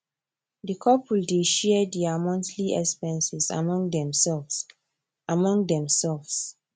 the couple dey share there monthly expenses among themselves among themselves